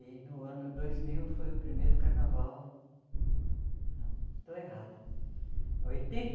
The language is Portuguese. E no ano dois mil foi o primeiro carnaval... Não, estou errada. Oitenta